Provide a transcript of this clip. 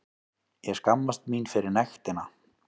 Ég skammast mín fyrir nektina.